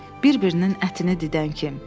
Bir-birinin ətini didən kim.